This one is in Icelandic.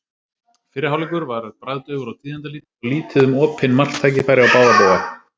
Fyrri hálfleikur var bragðdaufur og tíðindalítill og lítið um opinn marktækifæri á báða bóga.